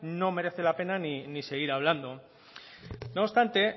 no merece la pena ni seguir hablando no obstante